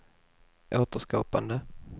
återskapande